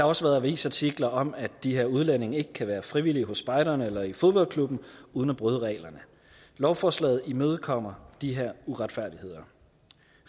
også været avisartikler om at de her udlændinge ikke kan være frivillige hos spejderne eller i fodboldklubben uden at bryde reglerne lovforslaget imødekommer de her uretfærdigheder